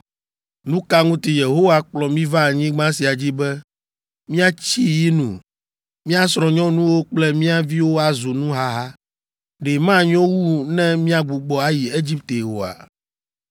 Nu ka ŋuti Yehowa kplɔ mí va anyigba sia dzi be míatsi yi nu? Mía srɔ̃nyɔnuwo kple mía viwo azu nuhaha. Ɖe manyo wu ne míagbugbɔ ayi Egipte oa?”